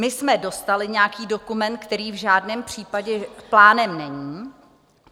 My jsme dostali nějaký dokument, který v žádném případě plánem není.